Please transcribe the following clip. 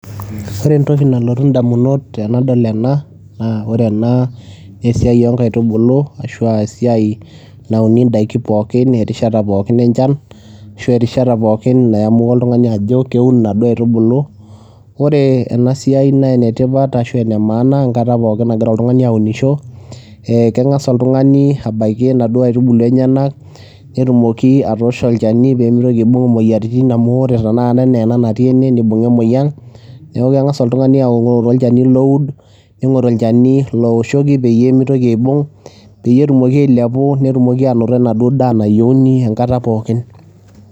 Ore entoki nalotu edamunot ainei tenadol ena naa ore ena naa esiai oo nkaitubulu ashua esiai nauni edaiki pookin erishat pookin enchan ashu erishata pooki nayamua oltung'ani Ajo keun enaduo aitubulu ore ena siai y enetipat ashu ene maana enkata pooki naagira oltung'ani aunisho keng'as oltung'ani abaiki enaduo aitubulu enyena nengas awosh olchani pee mitoki aibung emoyiaritin amu ore ena natii ene nibunga emoyian neeku keng'as oltung'ani aing'oru olchani oo ud ning'oru olchani owoshoki pee mitoki ena toki aibung peeyie etumoki ailepu netum enaduo toki nayieuni enkata pookin